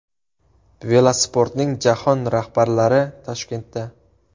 Velosportning jahon rahbarlari Toshkentda.